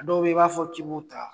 A dɔw bɛ y'i b'a fɔ ki bu ta?